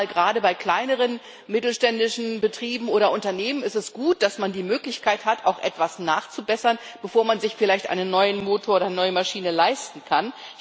Gerade bei kleineren, mittelständischen Betrieben oder Unternehmen ist es gut, dass man die Möglichkeit hat, auch etwas nachzubessern, bevor man sich vielleicht einen neuen Motor oder eine neue Maschine leisten kann.